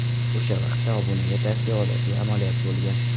O‘sha vaqtda obunaga tavsiya odatiy amaliyot bo‘lgan.